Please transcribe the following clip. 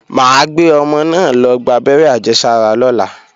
Mà á gbé ọmọ náà lọ gbábẹ́rẹ́ àjẹsára lọ́la